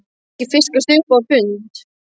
Það hefur ekki fiskast upp á hund!